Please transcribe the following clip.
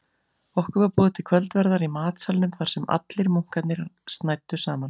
Okkur var boðið til kvöldverðar í matsalnum þarsem allir munkarnir snæddu saman.